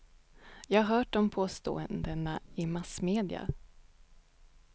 Jag har hört om påståendena i massmedia.